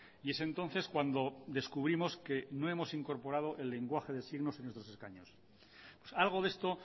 y es entonces cuando descubrimos que no hemos incorporado el lenguaje de signos en nuestros escaños algo de esto